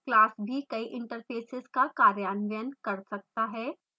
class भी कई interfaces का कार्यान्वयन कर सकता है